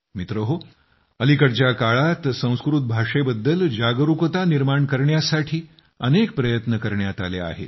मित्रहो अलीकडच्या काळात संस्कृत भाषेबद्दल जागरूकता निर्माण करण्यासाठी अनेक प्रयत्न करण्यात आले आहेत